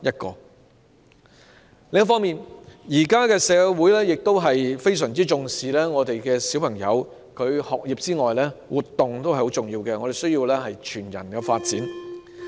另一方面，現今社會除了非常重視學童的學業之外，亦強調全人發展，活動同樣重要。